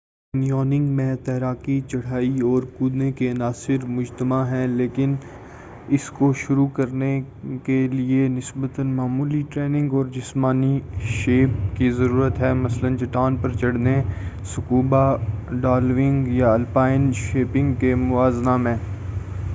canyoning میں تیراکی، چڑھائی، اور کودنے کے عناصر مجتمع ہیں -- لیکن اس کو شروع کرنے لئے نسبۃٍ معمولی ٹریننگ اور جسمانی شیپ کی ضرورت ہے مثلاًً چٹان پر چڑھنے، سکوبا ڈائونگ یا آلپائن شیینگ کے موازنہ میں۔